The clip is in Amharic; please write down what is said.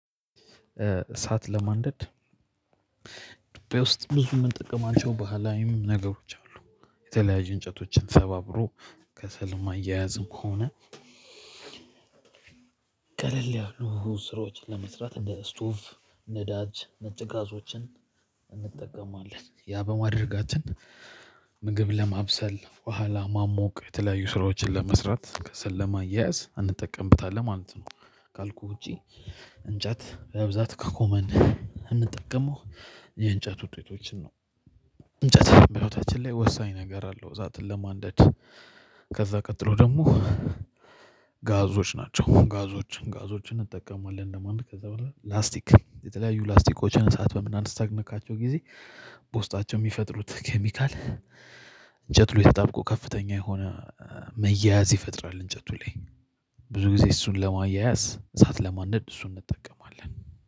እሳት ለማንደድ ዱባይ ውስጥ ብዙ የምንጠቀማቸው ባህላዊም ነገሮች አሉ። የተለያዩ እንጨቶችን ሰባብሮ ከሰል ማያያዝም ሆነ። ቀለል ያሉ ስራችን ለመስራት እንደ ስቱፍ ነዳጅ ነጭ ጋዞችን እንጠቀማለን ያ በማድረጋችን። ምግብ ለማብሰል በኋላ ማሞቅ የተለያዩ ስራዎችን ለመስራት ከሰለማያያዝ አንጠቀምበታለሁ ማለት ነው። ካልኩ ውጪ። እንጨት በብዛት ከኮመን እንጠቀመው የእንጨት ውጤቶችን ነው። እንጨት በህይወታችን ላይ ወሳኝ ነገር አለው። እሳትን ለማንደድ ከዛ ቀጥሎ ደግሞ። ጋዞች ናቸው ጋዞችን ጋዞችን እንጠቀማለን ለማንደድ ከዛ በኋላ ላስቲክ የተለያዩ ላስቲኮችን እሳት በምናስነካቸው ጊዜ። በውስጣቸው የሚፈጥሩት ኬሚካል እንጨት ላይ ተጣብቆ ከፍተኛ የሆነ መያያዝ ይፈጥራል። እንጨቱ ላይ ብዙ ጊዜ እሱን ለማያያዝ እሳት ለማንደድ እሱን እንጠቀማለን።